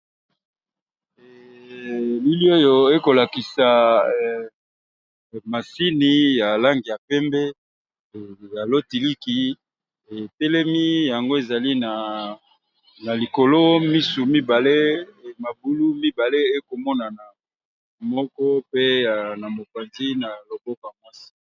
Elili oyo ekolakisa masini ya langi ya pembe ya lotiliki etelemi yango ezali na likolo misu mibale mabulu mibale ekomonana moko pe na mopanzi na loboko mwasi.